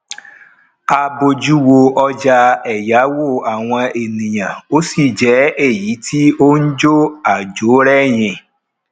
a bójú wo ọjà èyáwó àwọn ènìyàn ó sì jẹ èyí tí n jo ajo reyin